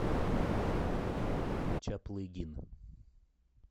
чаплыгин